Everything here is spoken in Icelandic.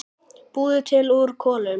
Búið til úr kolum!